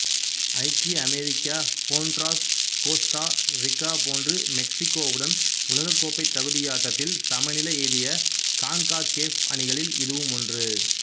ஐக்கிய America Honduras Costa Rica போன்று மெக்சிக்கோவுடன் உலகக்கோப்பை தகுதியாட்டத்தில் சமநிலை எய்திய கான்காகேஃப் அணிகளில் இதுவும் ஒன்றாகும்